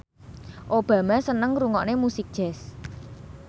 Obama seneng ngrungokne musik jazz